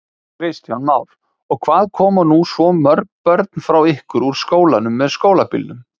Kristján Már: Og hvað koma nú svo mörg börn frá ykkur úr skólanum með skólabílnum?